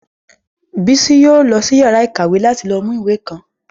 Bísí yóò lọ sí yàrá ìkàwé láti lọ mú ìwé kan